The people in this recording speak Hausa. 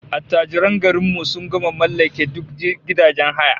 Attajiran garin mu gama mallake duk gidajen haya